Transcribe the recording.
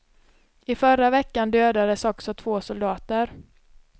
I förra veckan dödades också två soldater.